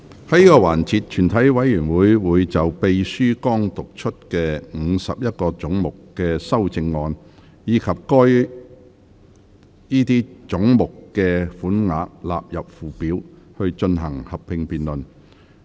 在這個環節，全體委員會會就秘書剛讀出的51個總目的修正案，以及該些總目的款額納入附表，進行合併辯論。